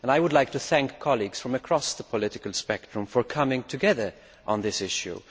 I would like to thank colleagues from across the political spectrum for coming together on this issue.